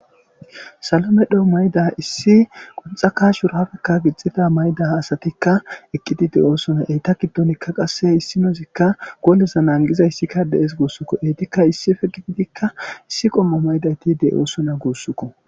Salomedho mayda issi qunxaka shurafekka gixxida mayda asatikka eqqidi de oosona eyta giddonikka qasse issi noozikka goleza naangiza issikka dees guussukko eytikka issi fe qididikka issi qommo maydayti de'oosona guussuko.